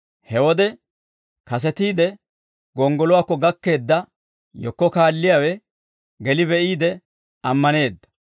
He wode, kasetiide gonggoluwaakko gakkeedda yekko kaalliyaawe geli be'iide ammaneedda.